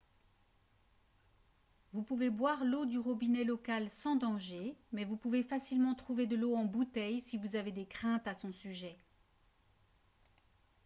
vous pouvez boire l'eau du robinet local sans danger mais vous pouvez facilement trouver de l'eau en bouteille si vous avez des craintes à son sujet